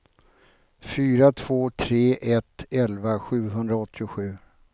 fyra två tre ett elva sjuhundraåttiosju